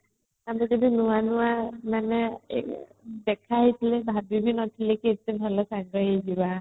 ଆମେ ଯେବେ ନୁଆ ମାନେ ଦେଖା ହେଇଥିଲେ ଭାବି ବି ନଥିଲେ ବି ଭଲ ସାଙ୍ଗ ହେଇଯିବା |